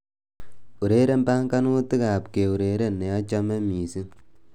Ureren banganutikab keureren neachame mising'